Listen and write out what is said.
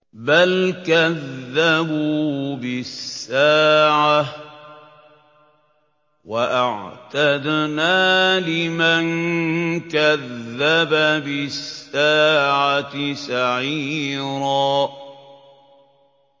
بَلْ كَذَّبُوا بِالسَّاعَةِ ۖ وَأَعْتَدْنَا لِمَن كَذَّبَ بِالسَّاعَةِ سَعِيرًا